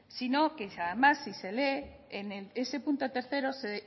sino que además si se lee en ese punto tercero